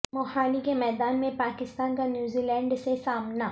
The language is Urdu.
موہالی کے میدان میں پاکستان کا نیوزی لینڈ سے سامنا